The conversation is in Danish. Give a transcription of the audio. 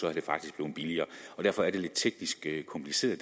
var det faktisk blevet billigere derfor er det lidt teknisk kompliceret